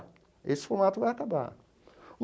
Esse formato vai acabar.